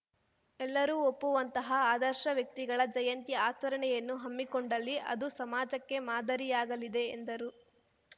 ಎಲ್ಲರೂ ಒಪ್ಪುವಂತಹ ಆದರ್ಶ ವ್ಯಕ್ತಿಗಳ ಜಯಂತಿ ಆಚರಣೆಯನ್ನು ಹಮ್ಮಿಕೊಂಡಲ್ಲಿ ಅದು ಸಮಾಜಕ್ಕೆ ಮಾದರಿಯಾಗಲಿದೆ ಎಂದರು